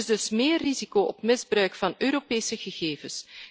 Er is dus meer risico op misbruik van Europese gegevens.